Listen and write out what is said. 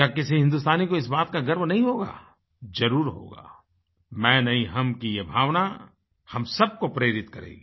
क्या किसी हिन्दुस्तानी को इस बात का गर्व नहीं होगा जरुर होगा मैं नहीं हम की ये भावना हम सब को प्रेरित करेगी